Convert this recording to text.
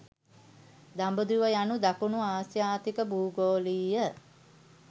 'දඹදිව' යනු දකුණු ආසියාතික භූගෝලීය